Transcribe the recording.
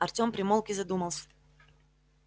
артем примолк и задумался